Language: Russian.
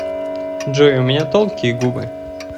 джой у меня тонкие губы